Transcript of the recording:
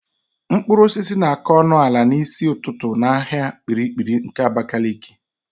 Mkpụrụosisi na-àká ọnụ ala n'isi ụtụtụ n'ahịa Kpiri-kpiri nke Abakaliki.